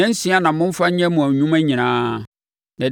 Nnansia na momfa nyɛ mo nnwuma nyinaa,